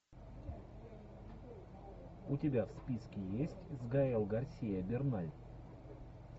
у тебя в списке есть с гаэль гарсия берналь